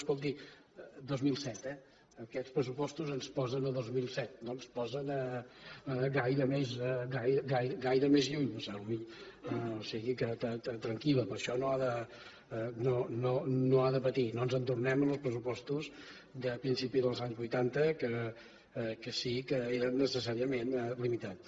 escolti dos mil set eh aquests pressupostos ens posen a dos mil set no ens posen gaire més lluny o sigui que tranquil·la per això no ha de patir no ens en tornem als pressupostos de principi dels anys vuitanta que sí que eren necessàriament limitats